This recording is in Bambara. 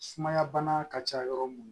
Sumaya bana ka ca yɔrɔ mun na